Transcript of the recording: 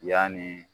Yanni